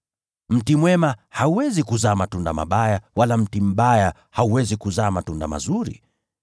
Mti mwema hauwezi kuzaa matunda mabaya, wala mti mbaya hauwezi kuzaa matunda mazuri.